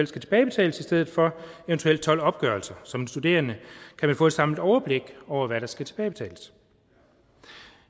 skal tilbagebetales i stedet for eventuelt tolv opgørelser så en studerende kan få et samlet overblik over hvad der skal tilbagebetales